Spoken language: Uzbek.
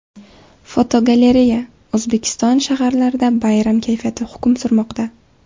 Fotogalereya: O‘zbekiston shaharlarida bayram kayfiyati hukm surmoqda.